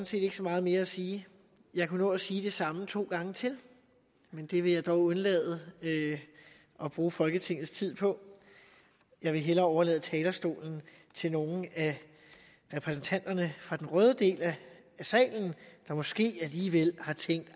set ikke så meget mere at sige jeg kunne nå at sige det samme to gange til men det vil jeg dog undlade at bruge folketingets tid på jeg vil hellere overlade talerstolen til nogle af repræsentanterne fra den røde del af salen der måske alligevel har tænkt at